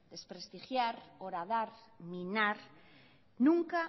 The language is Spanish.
desprestigiar horadar minar nunca